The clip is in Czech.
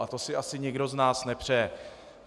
A to si asi nikdo z nás nepřeje.